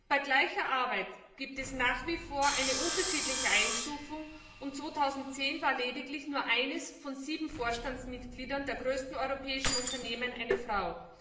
Bei gleicher Arbeit gibt es nach wie vor eine unterschiedliche Einstufung, und 2010 war lediglich eines von sieben Vorstandsmitgliedern der größten europäischen Unternehmen eine Frau.